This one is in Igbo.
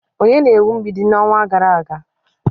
Onye na-ewu mgbidi n'ọnwa gara aga?